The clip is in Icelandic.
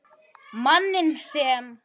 Manninn sem.